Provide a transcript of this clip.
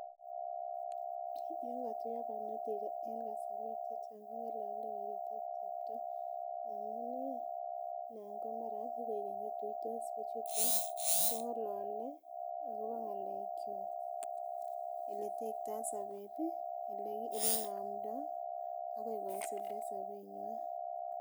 Yon kotuiyo barnotik en kasorwek chechang keng'olole kongolole werit ak chepto amun ih nan ko mara kikoik keny kotuitos bichuton kong'olole akobo ng'alek kwak eletektoo sobet ih, elenomdoo akoi kosulda sobetnywan